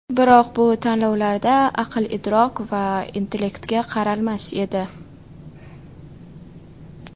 Biroq bu tanlovlarda aql-idrok va intellektga qaralmas edi.